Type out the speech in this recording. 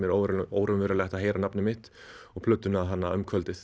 óraunverulegt að heyra nafnið mitt og plötuna þarna um kvöldið